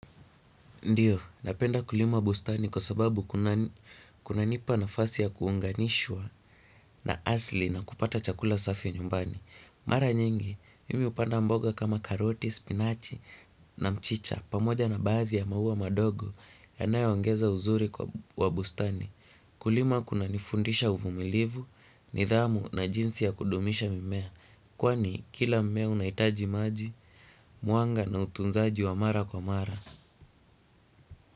Ndiyo, napenda kulima bustani kwa sababu kuna kunanipa nafasi ya kuunganishwa na asili na kupata chakula safi nyumbani. Mara nyingi, mimi hupanda mboga kama karoti, spinachi na mchicha. Pamoja na baadhi ya maua madogo yanayo ongeza uzuri wa bustani. Kulima kunanifundisha uvumilivu, nidhamu na jinsi ya kudumisha mimea. Kwani kila mmea unahitaji maji, mwanga na utunzaji wa mara kwa mara.